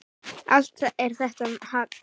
Allt er þetta hagl.